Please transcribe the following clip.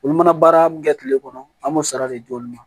Olu mana baara mun kɛ kile kɔnɔ an b'o sara de jɔ olu ma